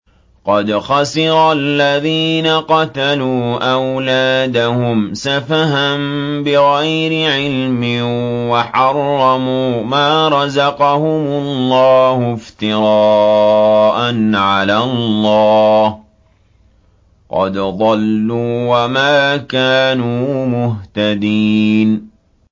قَدْ خَسِرَ الَّذِينَ قَتَلُوا أَوْلَادَهُمْ سَفَهًا بِغَيْرِ عِلْمٍ وَحَرَّمُوا مَا رَزَقَهُمُ اللَّهُ افْتِرَاءً عَلَى اللَّهِ ۚ قَدْ ضَلُّوا وَمَا كَانُوا مُهْتَدِينَ